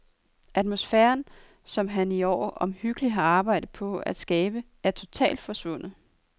Atmosfæren, som han i et år omhyggeligt har arbejdet på at skabe, er totalt forsvundet.